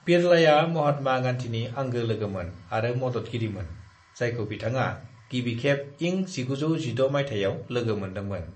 "बिड़लाया महात्मा गांधीनि आंगो लोगोमोन आरो मददगिरिमोन, जायखौ बिथाङा गिबिखेब इं 1916 माइथायाव लोगो मोन्दोंमोन।"